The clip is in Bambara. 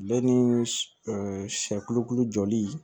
Bɛɛ ni siyɛ kolo jɔli